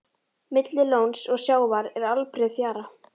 Milli lóns og sjávar er allbreið fjara.